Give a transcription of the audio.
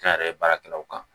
Kɛ n yɛrɛ ye baarakɛlaw kan